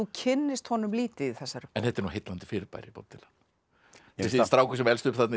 kynnist honum lítið í þessari en þetta er nú heillandi fyrirbæri Bob Dylan þessi strákur sem elst þarna